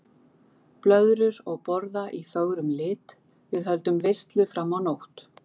Blöðrur og borða í fögrum lit, við höldum veislu fram á nótt.